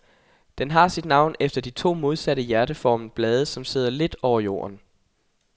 Den har sit navn efter de to modsatte hjerteformede blade, som sidder lidt over jorden.